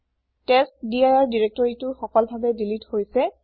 টেষ্টডিৰ দিৰেক্তৰিটো সফলভাবে দিলিত হৈছে